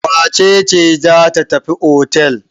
Wace ce za tafi otel?